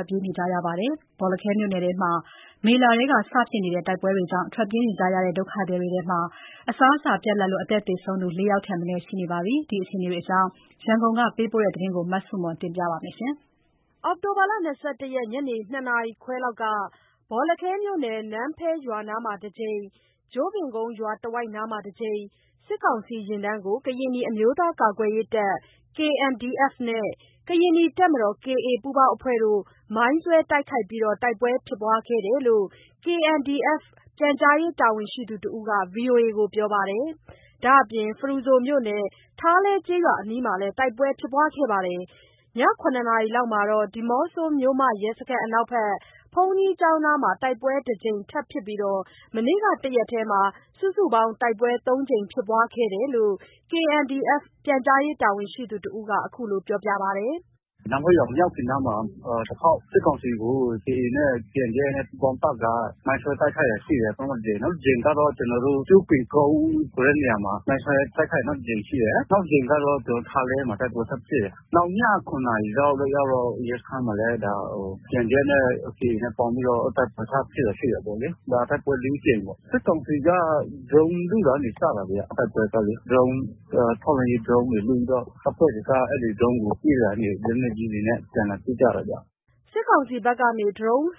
က်ပြေးတိမ်းရှောင်နေရပြီး အစာရေစာပြတ်မှုကြောင့် သေဆုံးသူ ၄ ဦး ရှိတယ် လို့ ဒေသခံတဦးက ပြောပါတယ်။ ရန်ကုန်ကပေးပို့တဲ့ သတင်းကို မဆုမွန်က တင်ပြပေးထားပါတယ်။ အောက်တိုဘာ ၂၁ ရက် ညနေ ၂ နာရီခွဲလောက်က ဘောလခဲမြို့နယ်၊ နန်းဖဲရွာနားမှာ တကြိမ်၊ ကျို့ပင်ကုန်းရွာတဝိုက် စစ်ကောင်စီယာဉ်တန်းကို ကရင်နီအမျိုးသားကာကွယ်ရေးတပ် နဲ့ ကရင်နီတပ်မတော် ပူးပေါင်းအဖွဲ့တို့ မိုင်းဆွဲတိုက်ခိုက်ပြီး တိုက်ပွဲဖြစ်ခဲ့တယ်လို့ KNDF ပြန်ကြားရေးတာဝန်ရှိသူတဦးက VOA ကိုပြောပါတယ်။ ဒါ့အပြင် ဖရူဆိုမြို့နယ် ထားလဲကျေးရွာအနီးမှာလည်း တိုက်ပွဲဖြစ်ပွားခဲ့ပြီး ည ၇ နာရီလောက်မှာတော့ ဒီးမော့ဆိုမြို့မ ရဲစခန်းအနောက်ဘက် ဘုန်းကြီးကျောင်းနားမှာ တိုက်ပွဲတကြိမ်ထပ်ဖြစ်ပြီး မနေ့က တရက်တည်းမှာ စုစုပေါင်း တိုက်ပွဲ သုံးကြိမ်ဖြစ်ပွားခဲ့တာလို့ KNDF ပြန်ကြားရေးတာဝန်ရှိသူတဦးက အခုလို ပြောပါတယ်။ “နန်းဖဲမရောက်ခင်နားမှာ တခေါက်၊ စစ်ကောင်စီကို KA နဲ့ KNDF ပူးပေါင်းတပ်က မိုင်းဆွဲ တိုက်ခိုက်တာရှိတယ်။ ပထမတကြိမ်၊ နောက်တကြိမ်က ကျို့ပင်ကုန်းခွဲနေရာမှာ မိုင်ဆွဲတိုက်ခိုက် နောက်တကြိမ်ရှိတယ်၊ နောက်တကြိမ် ကတော့ ထားလဲမှာ တိုက်ပွဲထပ်ဖြစ်တယ်။ နောက် ည ၇ နာရီလောက်ရောက်တော့ ရဲစခန်းမှာလည်းKNDF နဲ့ KA နဲ့ ပေါင်းပြီးတော့ တိုက်ပွဲထပ်ဖြစ်တာ ရှိတာပေါ့လေ။တိုက်ပွဲလေးကြိမ်ပေါ့၊ စစ်ကောင်စီက ဒရုန်းလွှတ်ရာကနေစတာဗျာ။ တိုက်ပွဲကလေ၊ ထောက်လှမ်းရေးဒရုန်းတွေ လွှတ်ပြီးတော့ တပ်ဖွဲ့တွေက အဲ့ဒီဒရုန်းကို ပစ်ရာကနေ လက်ကြီးတွေနဲ့အပြန်အလှန်ထုကြတာဗျ။” စစ်ကောင်စီဘက်က ဒရုန်း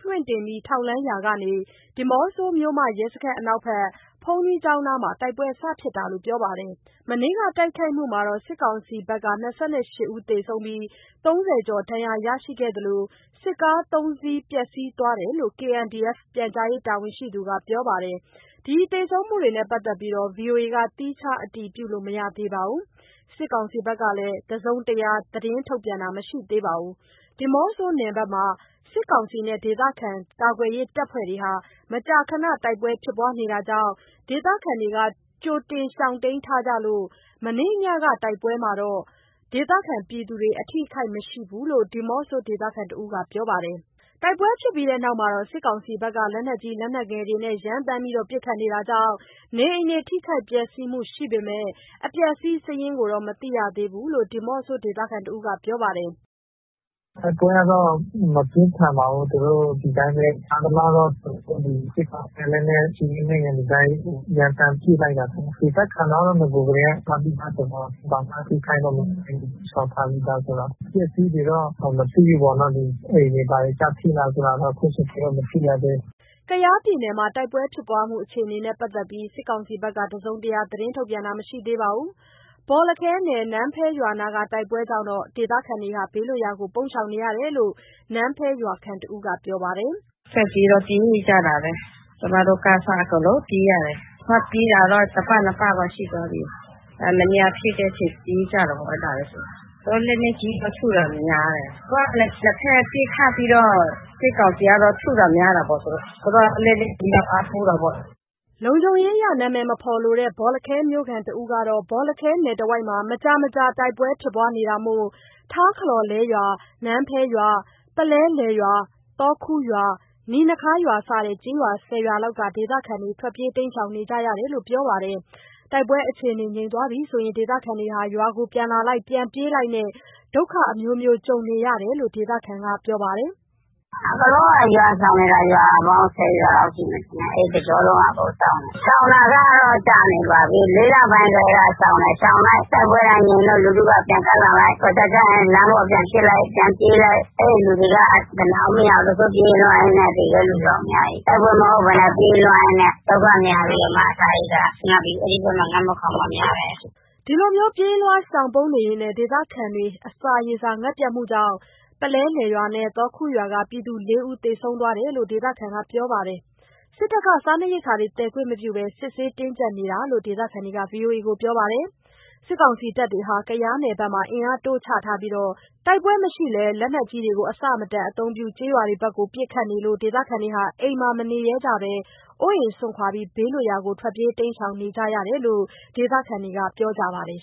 လွှတ်တင် ထောက်လှမ်းရာကနေ ဒီးမော့ဆိုမြို့ ရဲစခန်းအနောက်ဘက် ဘုန်းကြီးကျောင်းနားမှာ တိုက်ပွဲဖြစ်စတာလို့ ပြောပါတယ်။ မနေ့က တိုက်ခိုက်မှုမှာ စစ်ကောင်စီဘက်က ၂၈ ဦးသေဆုံးပြီး ၃၀ ကျော် ဒဏ်ရာရရှိသလို စစ်ကား ၃ စီး ပျက်စီးသွားတယ်လို့ KNDF ပြန်ကြားရေးတာဝန်ရှိသူက ပြောပါတယ်။ ဒီသေဆုံးမှုနဲ့ ပတ်သက်ပြီး VOA က သီးခြားအတည်လို့ မရသေးပါဘူး။ စစ်ကောင်စီဘက်ကလည်း တစုံတရား သတင်းထုတ်ပြန်တာ မရှိသေးပါဘူး။ ဒီးမော့ဆိုနယ်မှာ စစ်ကောင်စီနဲ့ ဒေသခံကာကွယ်ရေးတပ်ဖွဲ့တို့ဟာ မကြာခဏ တိုက်ပွဲဖြစ်ပွားနေတာကြောင့် ဒေသခံတွေ ကြိုတင်ရှောင်တိမ်းထားကြလို့ မနေ့ညက တိုက်ပွဲမှာ ဒေသခံတွေ အထိအခိုက်မရှိဘူးလို့ ဒီးမော့ဆိုဒေသခံတဦးက ပြောပါတယ်။ တိုက်ပွဲဖြစ်ပြီးနောက် စစ်ကောင်စီက လက်နက်ကြီး လက်နက်ငယ်တွေနဲ့ ရမ်းသမ်းပစ်ခတ်နေတာကြောင့် နေအိမ်ထိခိုက် ပျက်စီးမှုရှိပေမယ့် အပျက်အစီးစာရင်းကိုတော့ မသိရသေးလို့ ဒီးမော့ဆိုဒေသခံတဦးက ပြောပါတယ်။ “တိုက်ပွဲကတော့ မပြင်းပါဘူး၊ သူတို့ ဒီတိုင်းပဲ ကြားသလောက်တော့ စစ်ကောင်စီက လက်နက်ကြီး လက်နက်ငယ်တွေ ရမ်းသမ်းပစ်လိုက်တာထင်တယ်၊ ဒေသတွေက နဂိုကတည်းက ရှောင်တိမ်းထားတယ်ဆိုတော့ ဘာမှ ထိခိုက်တာ မရှိဘူး၊ ရှောင်ထားပြီးသားဆိုတော့၊ အပျက်အစီးတွေက မသိဘူးပေါ့နော်။ အိမ်တွေ ဘာတွေကျထိလားဆိုတော့ အခုချိန်ထိ မသိရသေးဘူး။” ကယားပြည်နယ်မှာ တိုက်ပွဲဖြစ်ပွားမှုအခြေအနေနဲ့ ပတ်သက်ပြီး စစ်ကောင်စီဘက်ကတော့ တစုံတရာ သတင်းထုတ်ပြန်တာ မရှိသေးပါဘူး။ ဘောလခဲနယ် နန်းဖဲရွာနားက တိုက်ပွဲကြောင့် ဒေသခံတွေ ဘေးလွတ်ရာကိုပုန်းရှောင်နေရတယ်လို့ နန်းဖဲရွာခံတဦးက ပြောပါတယ်။ “ထွက်ပြေးတော့ ပြေးကြတာပဲ၊ ကျမတို့ကအစ အကုန်လုံးပြေးရတယ်၊ ထွက်ပြေးတာတော့ တပတ် နှစ်ပတ်တော့ ရှိသွားပြီ။ အဲဒီနေ့က ဖြစ်တဲ့အချိန်ပြေးကြတာပဲ။ လက်နက်ကြီးထုတာများတယ်၊ နှစ်ဘက်ပစ်ခတ်ပြီးတော့ စစ်ကောင်စီကတော့ ထုတာများတာပေါ့။ သူတို့က လက်နက်ကြီးနဲ့ အားကိုးတာပေါ့။” လုံခြုံးရေးအရ နာမည်မဖော်လိုတဲ့ ဘောလခဲမြို့ခံတဦးကတော့ ဘောလခဲနယ်တဝိုက်မှာ မကြာမကြာ တိုက်ပွဲဖြစ် ပွားနေတာမို့ ထားခလောလဲရွာ၊ နန်းဖဲရွာ၊ ပုလဲလယ်ရွာ၊ သော်ခူရွာ၊ နီနခါးရွာ စတဲ့ ကျေးရွာ ၁၀ ရွာလောက်က ဒေသခံတွေ ထွက်ပြေးနေကြရတယ်လို့ ပြောပါတယ်။ တိုက်ပွဲအခြေအနေငြိမ်ရင် ဒေသခံတွေရွာကို ပြန်လာလိုက်၊ ပြန်ပြေးလိုက်နဲ့ ဒုက္ခအမျိုးမျိုးကြုံနေရတာလို့ ဒေသခံက ပြောပါတယ်။ “အကုန်လုံးက ရွာရှောင်နေတာ ရွာပေါင်း ၁၀ ရွာလောက်ရှိမယ် ထင်တယ်၊ အဲ့တစ်ကျောလုံးက ရှောင်တယ်၊ ရှောင် တာကတော့ ကြာနေပါပြီ။ ၄ လပိုင်းကတည်းက ရှောင်တယ်၊ ရှောင်လိုက် တိုက်ပွဲကငြိမ်လိုက်၊ လူထုက ပြန်ကပ်လိုက်။ တော်ကြာကျရင် လမ်းပေါ်ပြန်ဖြစ်လိုက်၊ ပြန်ပြေးလိုက်။ လူတွေ အနားမရသေးဘူး။ ပြေးလွှားရင်းနဲ့ သေတဲ့လူတော့ အများကြီး။ တိုက်ပွဲမဟုတ်ဘဲနဲ့ ပြေးလွှားရင်းနဲ့ ဒုက္ခများပြီးတော့မှ အစားရေစာငတ်ပြီး အဲ့ဒီဘက်မှာ ငတ်မွတ်ခေါင်းပါး များတယ်။” ဒီလို ပြေးလွှား ရှောင်ပုန်းရင် ဒေသခံတွေ အစားရေစာငတ်ပြတ်မှုကြောင့် ပုလဲလယ်ရွာ၊ သော်ခူရွာက ပြည်သူ ၄ ဦး သေဆုံးသွားတယ်လို့ ဒေသခံက ပြောပါတယ်။ စစ်တပ်က စားနပ်ရိက္ခာသယ်ခွင့်မပြုဘဲ စစ်ဆေးတင်ကြပ်နေတာလို့ ဒေသခံတွေက VOA ကို ပြောပါတယ်။ စစ်ကောင်စီတပ်တွေဟာ ကယားနယ်ဘက်မှာ အင်အားတိုးချထားပြီး တိုက်ပွဲမရှိလည်း လက်နက်ကြီးတွေ အဆမတန် အသုံးပြု ကျေးရွာဘက်ကို ပစ်ခတ်လို့ ဒေသခံ အိမ်မှာ မနေရဲဘဲ အိုးအိမ်စွန့်ခွာ ဘေးလွတ်ရာကိုထွက်ပြေးရတာလို့ ဒေသခံတွေက ပြောကြပါတယ်